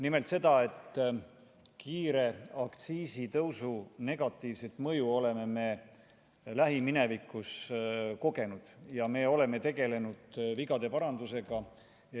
Nimelt, kiire aktsiisitõusu negatiivset mõju me oleme lähiminevikus kogenud ja oleme tegelenud vigade parandusega.